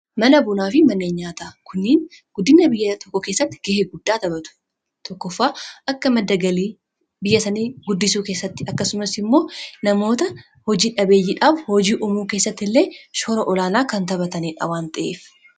mana bunaa fi manneen nyaataa kunniin guddina biyya tokko keessatti gahee guddaa taphatu tokkofaa akka madda galii biyya sanii guddisuu keessatti akkasumas immoo namoota hojii dhabeeyyiidhaaf hojii umuu keessatti illee shoora olaanaa kan taphataniidha waan ta'eef